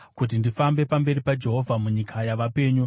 kuti ndifambe pamberi paJehovha munyika yavapenyu.